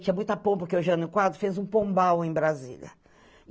Tinha muita pompa, que o Jânio Quadros fez um pombal em Brasília.